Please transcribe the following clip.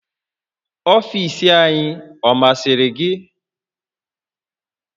Ọfiisi anyị ọ masịrị gị?